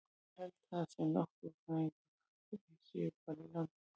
Ég held það, sem náttúrufræðingur, að þeir séu bara í landinu.